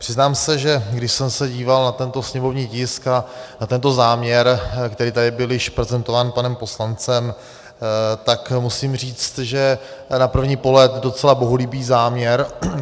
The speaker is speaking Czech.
Přiznám se, že když jsem se díval na tento sněmovní tisk a na tento záměr, který tady byl již prezentován panem poslancem, tak musím říct, že na první pohled docela bohulibý záměr.